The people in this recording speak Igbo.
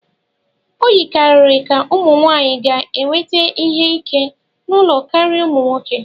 O yikarịrị ka ụmụ nwanyị ga-enweta ihe ike n'ụlọ karịa ụmụ nwoke